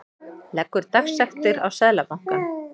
Leggur dagsektir á Seðlabankann